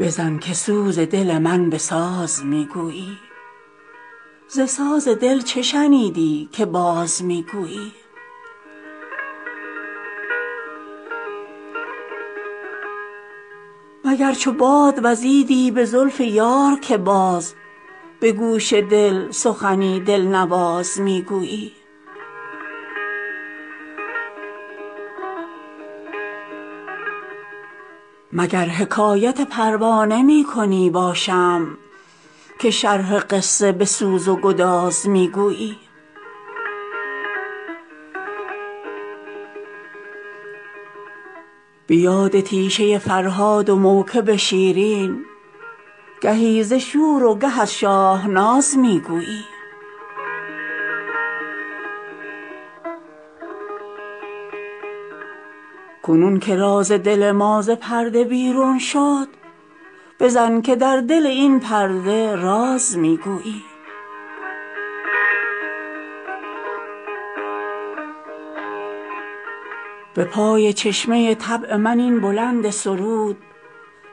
بزن که سوز دل من به ساز می گویی ز ساز دل چه شنیدی که باز می گویی مگر چو باد وزیدی به زلف یار که باز به گوش دل سخنی دل نواز می گویی مگر حکایت پروانه می کنی با شمع که شرح قصه به سوز و گداز می گویی به یاد تیشه فرهاد و موکب شیرین گهی ز شور و گه از شاهناز می گویی کنون که راز دل ما ز پرده بیرون شد بزن که در دل این پرده راز می گویی به پای چشمه طبع من این بلند سرود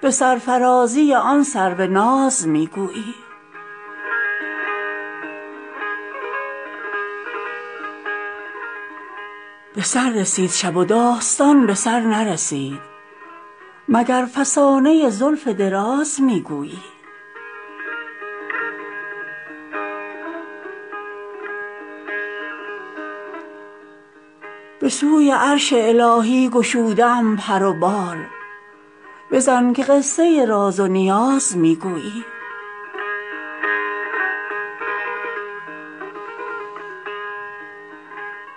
به سرفرازی آن سروناز می گویی به سر رسید شب و داستان به سر نرسید مگر فسانه زلف دراز می گویی دلم به ساز تو رقصد که خود چو پیک صبا پیام یار به صد اهتزاز می گویی به سوی عرش الهی گشوده ام پر و بال بزن که قصه راز و نیاز می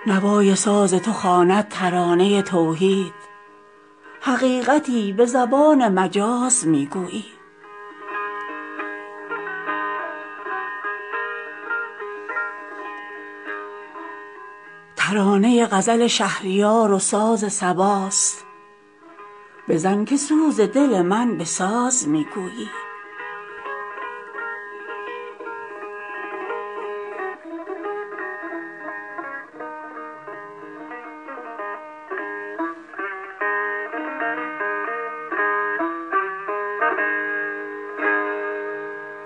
گویی نوای ساز تو خواند ترانه توحید حقیقتی به زبان مجاز می گویی ترانه غزل شهریار و ساز صباست بزن که سوز دل من به ساز می گویی